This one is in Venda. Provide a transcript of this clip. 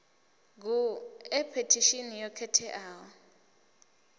gu e phethishini yo khetheaho